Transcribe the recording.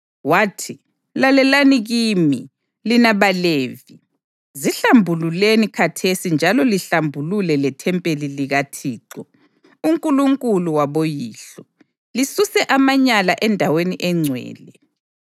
wathi: “Lalelani kimi, lina baLevi! Zihlambululeni khathesi njalo lihlambulule lethempeli likaThixo, uNkulunkulu waboyihlo. Lisuse amanyala endaweni engcwele.